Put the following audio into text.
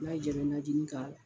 N'a y'i jaa i bɛ nanjinin k'a la.